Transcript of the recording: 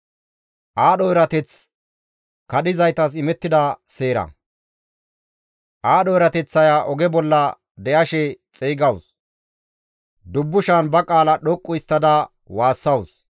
Aadho erateththaya oge bolla de7ashe xeygawus; dubbushan ba qaala dhoqqu histtada waassawus.